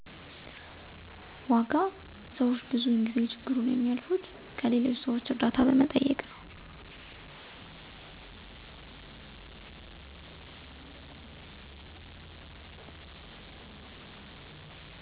ዋጋ ሰዎች ብዙውን ጊዜ ችግሩን የሚያልፉት ከሌሎች ሰዎች እርዳታ በመጠየቅ ነው።